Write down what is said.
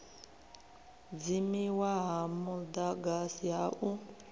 dzimiwa ha mudagasi ha u